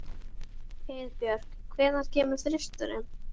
Heiðbjörk, hvenær kemur þristurinn?